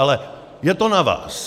Ale je to na vás.